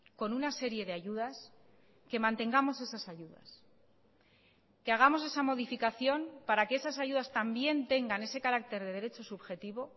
con una serie de ayudas que mantengamos esas ayudas que hagamos esa modificación para que esas ayudas también tengan ese carácter de derecho subjetivo